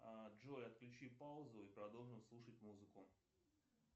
джой отключи паузу и продолжим слушать музыку